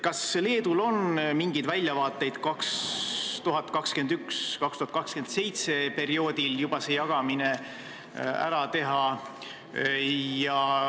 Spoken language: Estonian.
Kas Leedul on mingeid väljavaateid perioodil 2021–2027 see jagamine ära teha?